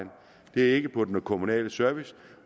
det ikke er på den kommunale service